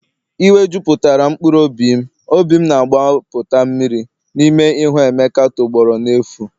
Iwe juputara'm mkpụrụ obi'm, obi'm na-agbapụta mmiri n'ime ịhụ emeka tọgbọrọ n'efu